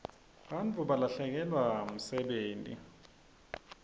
bantfu balahlekelwa msebenti